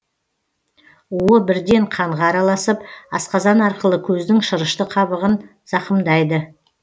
уы бірден қанға араласып асқазан арқылы көздің шырышты қабығын зақымдайды